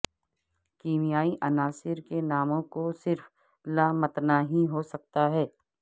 کیمیائی عناصر کے ناموں کو صرف لامتناہی ہو سکتا ہے